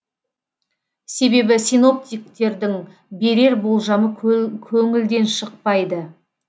себебі синоптиктердің берер болжамы көңілден шықпайды